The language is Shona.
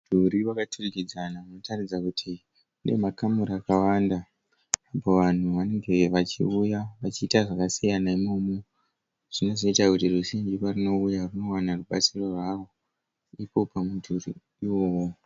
Mudhuri wakaturukidzana unoratidza kuti une makamuri akawanda. Apa vanhu vanenge vachiuya vachiita zvakasiyana Imomu. Zvinozoita kuti ruzhinji parinouya rinowana rubatsiro rwavo ipo pamudhuri iwowo.